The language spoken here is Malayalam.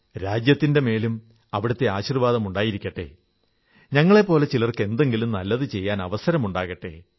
രാജ്യത്തിന്റെ മേലും അവിടത്തെ ആശീർവ്വാദമുണ്ടായിരിക്കട്ടെ ഞങ്ങളെപ്പോലെ ചിലർക്ക് എന്തെങ്കിലും നല്ലതു ചെയ്യാനവസരമുണ്ടാകട്ടെ